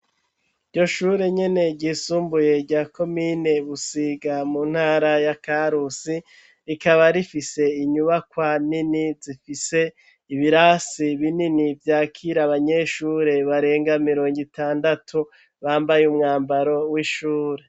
Iryo shure nyene, ryisumbuye, rya komine Busiga, mu ntara ya Karusi; rikaba rifise, inyubakwa nini, zifise ibirasi binini, vyakira abanyeshure, barenga mirongo itandatu, bambaye umwambaro, w'ishure.